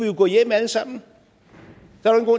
jo gå hjem alle sammen